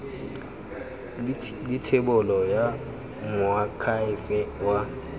le thebolo ya moakhaefe wa